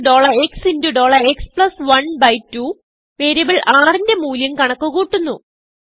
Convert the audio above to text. rxക്സ്12വേരിയബിൾ rന്റെ മൂല്യം കണക്ക്കൂട്ടുന്നു